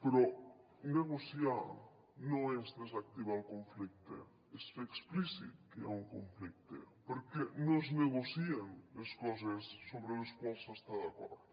però negociar no és desactivar el conflicte és fer explícit que hi ha un conflicte perquè no es negocien les coses sobre les quals s’està d’acord